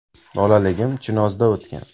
Bolaligim Chinozda o‘tgan.